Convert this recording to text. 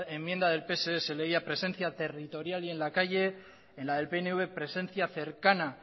enmienda del pse se leía presencia territorial y en la calle en la del pnv presencia cercana